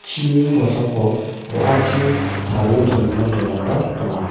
chini kosako wa·achi tarie dongimin dolongba donga.